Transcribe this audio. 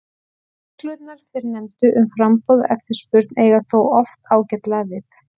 Reglurnar fyrrnefndu um framboð og eftirspurn eiga þó oft ágætlega við.